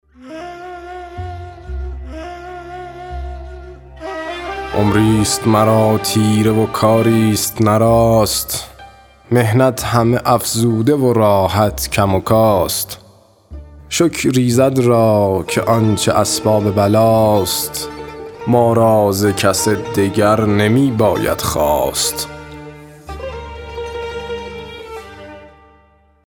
عمری ست مرا تیره و کاری ست نه راست محنت همه افزوده و راحت کم و کاست شکر ایزد را که آنچه اسباب بلا ست ما را ز کس دگر نمی باید خواست